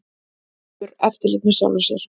Hefur eftirlit með sjálfri sér